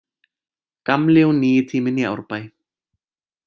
Gamli og nýi tíminn í Árbæ